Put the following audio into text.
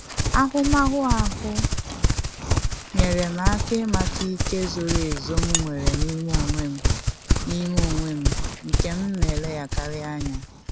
Ahụmahụ ahụ nyere m aka ịmata ike zoro ezu m nwere n'ime onwe m n'ime onwe m nke m na eleghakari anya